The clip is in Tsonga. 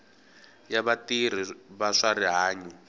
ya vatirhi va swa rihanyo